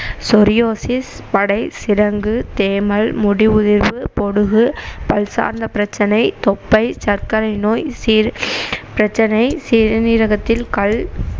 psoriasis, படை, சிரங்கு, தேமல், முடி உதிர்வு, பொடுகு, பல்சார்ந்த பிரச்சனை, தொப்பை, சர்க்கரை நோய், சிறு~ பிரச்சனை, சிறுநீரகத்தில் கல்